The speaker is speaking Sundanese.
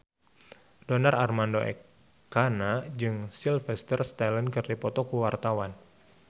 Donar Armando Ekana jeung Sylvester Stallone keur dipoto ku wartawan